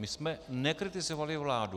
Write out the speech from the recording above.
My jsme nekritizovali vládu.